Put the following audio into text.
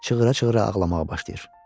Çığıra-çığıra ağlamağa başlayır.